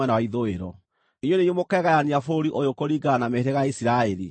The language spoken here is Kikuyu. “Inyuĩ nĩ inyuĩ mũkeegayania bũrũri ũyũ kũringana na mĩhĩrĩga ya Isiraeli.